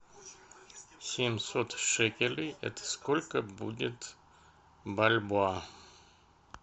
семьсот шекелей это сколько будет бальбоа